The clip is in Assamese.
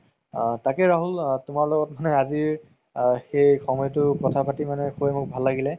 আ তাকেই ৰাহুল তুমাৰ লগত মানে আজিৰ সেই সময়তো কথা পাতি মানে শুবে মোৰ ভাল লাগিলে